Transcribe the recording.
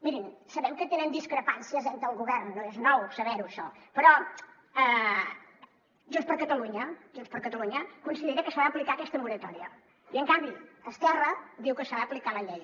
mirin sabem que tenen discrepàncies entre el govern no és nou saber ho això però junts per catalunya considera que s’ha d’aplicar aquesta moratòria i en canvi esquerra diu que s’ha d’aplicar la llei